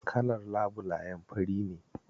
Kalar labulayen fari ne.